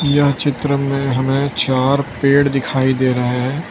यह चित्र में हमें चार पेड़ दिखाई दे रहे है।